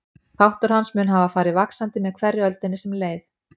Þáttur hans mun hafa farið vaxandi með hverri öldinni sem leið.